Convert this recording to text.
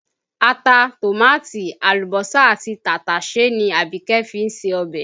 Ata, tòmáàtì, àlùbọ́sà àti tàtàsé ni Abike fi ń se ọbẹ̀